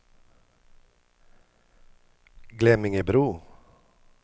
Glemmingebro